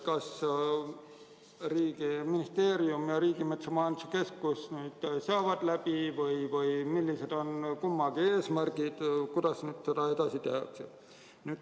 Kas ministeerium ja Riigimetsa Majandamise Keskus saavad omavahel läbi ning millised on kummagi eesmärgid ja seisukohad, kuidas nüüd edasi toimida?